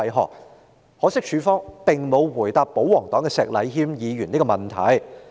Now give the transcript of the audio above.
很可惜，警方並沒有回答保皇黨石禮謙議員的問題。